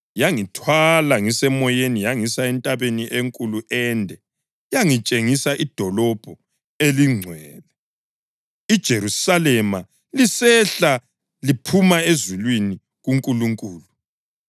Yangithwala ngiseMoyeni yangisa entabeni enkulu ende yangitshengisa iDolobho eliNgcwele, iJerusalema lisehla liphuma ezulwini kuNkulunkulu.